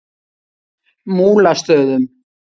Múlastöðum